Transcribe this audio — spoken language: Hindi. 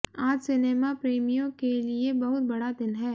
आज सिनेमा प्रेमियों के लिए बहुत बड़ा दिन है